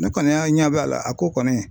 Ne kɔni y'a ɲɛb'a la a ko kɔni